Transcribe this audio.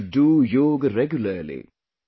You should do Yoga regularly